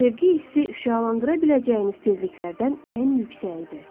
Sevgi hissi şüalandıra biləcəyiniz tezliklərdən ən yüksəyidir.